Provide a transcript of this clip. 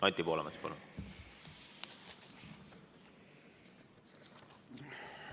Anti Poolamets, palun!